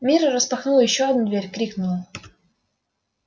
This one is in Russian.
мирра распахнула ещё одну дверь крикнула